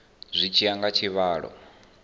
zwi tshi ya nga tshivhalo